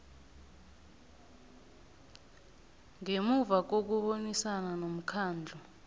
ngemuva kokubonisana nomkhandlu